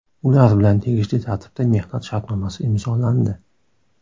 Ular bilan tegishli tartibda mehnat shartnomasi imzolandi.